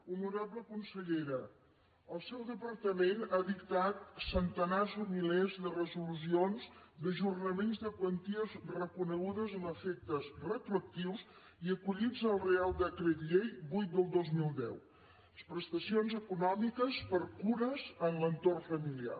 honorable consellera el seu departament ha dictat centenars o milers de resolucions d’ajornaments de quanties reconegudes amb efectes retroactius i acollits al reial decret llei vuit dos mil deu les prestacions econòmiques per cures en l’entorn familiar